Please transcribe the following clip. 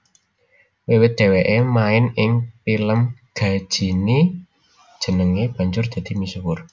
Wiwit dhèwèké main ing pilem Ghajini jenengé banjur dadi misuwur